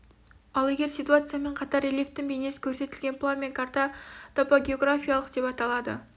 ал егер ситуациямен қатар рельефтің бейнесі көрсетілген план мен карта топогеографиялық деп аталады